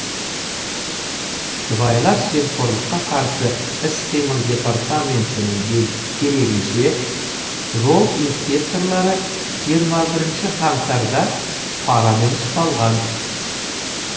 сыбайлас жемқорлыққа қарсы іс қимыл департаментінің дерегінше жол инспекторлары жиырма бірінші қаңтарда парамен ұсталған